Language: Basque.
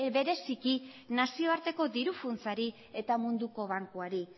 bereziki nazioarteko diru funtsari eta munduko bankuari